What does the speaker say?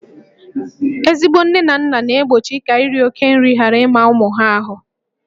Ezigbo nne na nna na-egbochi ka iri oke nri ghara ịma ụmụ ahụ